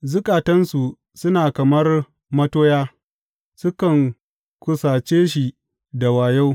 Zukatansu suna kamar matoya; sukan kusace shi da wayo.